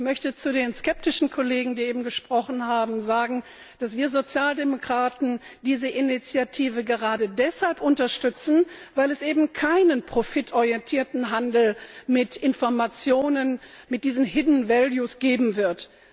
Ich möchte zu den skeptischen Kollegen, die eben gesprochen haben, sagen, dass wir Sozialdemokraten diese Initiative gerade deshalb unterstützen, weil es eben keinen profitorientierten Handel mit Informationen, mit diesen geben wird.